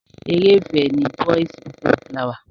Ere ìfẹ́ ni Boys before flower.